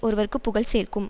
ஒருவர்க்குப் புகழ் சேர்க்கும்